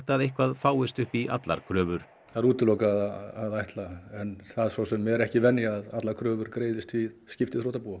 að eitthvað fáist upp í allar kröfur það er útilokað að ætla en það er svo sem ekki venja að allar kröfur greiðist við skipti þrotabúa